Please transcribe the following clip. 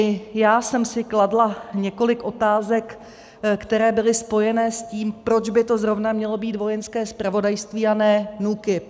I já jsem si kladla několik otázek, které byly spojené s tím, proč by to zrovna mělo být Vojenské zpravodajství, a ne NÚKIB.